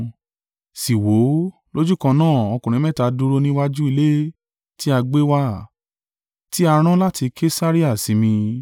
“Sì wò ó, lójúkan náà ọkùnrin mẹ́ta dúró níwájú ilé ti a gbé wà, ti a rán láti Kesarea sí mi.